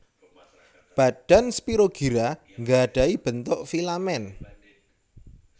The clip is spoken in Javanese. Badan Spirogyra nggadhahi bentuk filamen